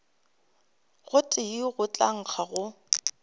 gotee go tla nkga go